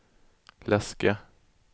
läska